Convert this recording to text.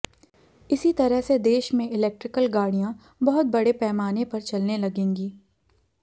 इसी तरह से देश में इलेक्ट्रिकल गाड़ियां बहुत बड़े पैमाने पर चलने लगेंगी